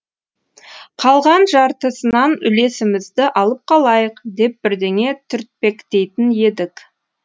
қалған жартысынан үлесімізді алып қалайық деп бірдеңе түртпектейтін едік